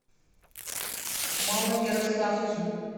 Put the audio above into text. малоярославцу